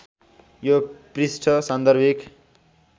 यो पृष्ठ सान्दर्भिक